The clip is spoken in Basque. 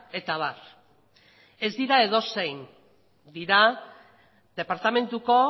eta abar ez dira edozein dira departamentuko